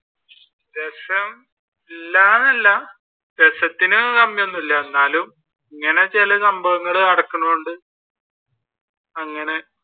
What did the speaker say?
രസം ഇല്ലാ എന്നല്ല രസത്തിന് കമ്മി ഒന്നും ഇല്ലാ എന്നാലും ഇങ്ങനെ ചില സംഭവങ്ങൾ നടക്കുന്നത് കൊണ്ട്, അങ്ങനെ